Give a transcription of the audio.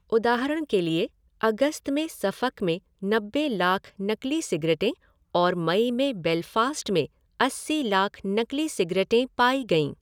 उदाहरण के लिए, अगस्त में सफ़क में नब्बे लाख नकली सिगरेटें और मई में बेलफ़ास्ट में अस्सी लाख नकली सिगरेटें पाई गईं।